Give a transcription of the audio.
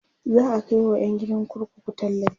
za'a Kai wa ƴan gidan kurkuku tallafi